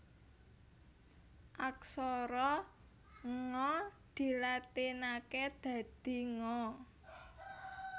Aksara Nga dilatinaké dadi Nga